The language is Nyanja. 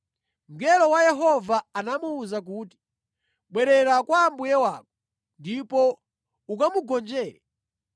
Mngelo wa Yehova anamuwuza kuti, “Bwerera kwa mbuye wako ndipo ukamugonjere.